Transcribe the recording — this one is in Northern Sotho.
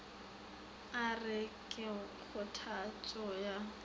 a re ke kgothatšo ya